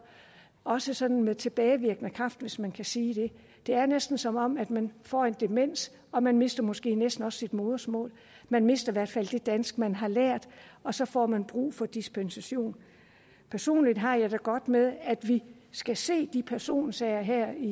også sådan med tilbagevirkende kraft hvis man kan sige det det er næsten som om man får en demens og man mister måske også næsten sit modersmål man mister i hvert fald det dansk man har lært og så får man brug for dispensation personligt har jeg det godt med at vi skal se de personsager her i